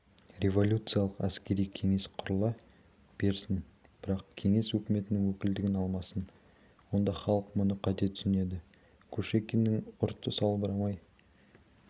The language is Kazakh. революциялық әскери кеңес құрыла берсін бірақ кеңес өкіметінің өкілеттігін алмасын онда халық мұны қате түсінеді кушекиннің ұрты салбырай